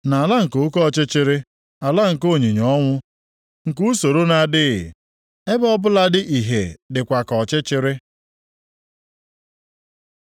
Nʼala nke oke ọchịchịrị, ala nke onyinyo ọnwụ, nke usoro na-adịghị, ebe ọbụladị ìhè dịkwa ka ọchịchịrị.”